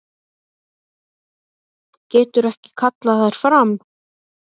Getur ekki kallað þær fram.